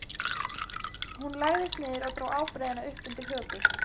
Hún lagðist niður og dró ábreiðuna upp undir höku.